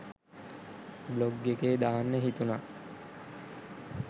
Blog එකේ දාන්න හිතුනා.